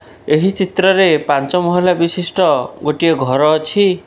ଏହି ଚିତ୍ରରେ ପାଞ୍ଚ ମହଲା ବିଶିଷ୍ଟ ଗୋଟିଏ ଘର ଅଛି।